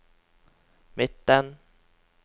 midten